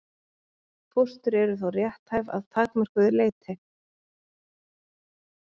Fóstur eru þó rétthæf að takmörkuðu leyti.